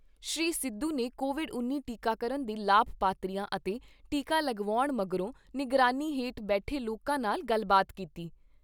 ਸ੍ਰੀ ਸਿੱਧੂ ਨੇ ਕੋਵਿਡ ਉੱਨੀ ਟੀਕਾਕਰਨ ਦੇ ਲਾਭਪਾਤਰੀਆਂ ਅਤੇ ਟੀਕਾ ਲਗਵਾਉਣ ਮਗਰੋਂ ਨਿਗਰਾਨੀ ਹੇਠ ਬੈਠੇ ਲੋਕਾਂ ਨਾਲ ਗੱਲਬਾਤ ਕੀਤੀ।